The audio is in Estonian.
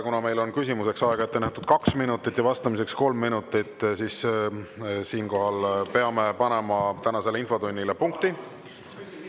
Kuna meil on küsimuseks aega ette nähtud kaks minutit ja vastamiseks kolm minutit, siis siinkohal peame panema tänasele infotunnile punkti.